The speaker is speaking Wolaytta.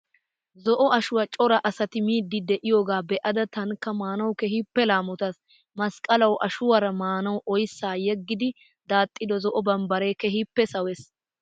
Zo"o ashuwaa cora asati miidi de'iyoogaa be'ada taanikka maanawu keehiippe laamotaas. Masqqalawu ashuwaara maanawu oyssaa yeggidi daaxido zo'o bambbare keehiippe sawees.